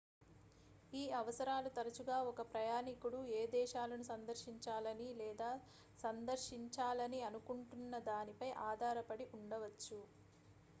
ఈ అవసరాలు తరచుగా ఒక ప్రయాణికుడు ఏ దేశాలను సందర్శించాలని లేదా సందర్శించాలని అనుకుంటున్నదానిపై ఆధారపడి ఉండవచ్చు